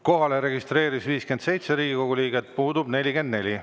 Kohalolijaks registreerus 57 Riigikogu liiget, puudub 44.